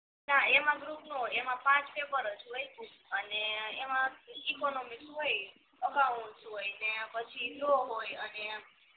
ના એમાં ગ્રુપ નો હોય એમાં પાંચ પેપર જ હોય અને એમા ઇકોનોમિક્સ હોય અકાઉન્ટ ને પછી લૌ હોય અને